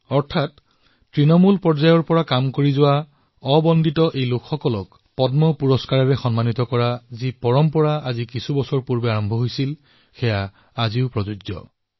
অৰ্থাৎ তৃণমূল পৰ্যায়ত কাম কৰা এই অজানা নায়কসকলক পদ্ম সন্মান প্ৰদান কৰাৰ যি পৰম্পৰা দেশে কিছু বৰ্ষ পূৰ্বে আৰম্ভ কৰিছিল সেয়া এইবাৰো অব্যাহত ৰখা হৈছে